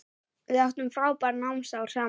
Við áttum frábær námsár saman.